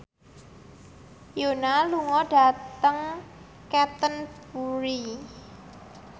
Yoona lunga dhateng Canterbury